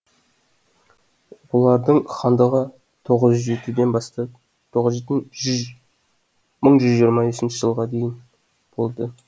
олардың хандығы тоғыз жүз жетіден бастап мың жүз жиырма бесінші жылға дейін болды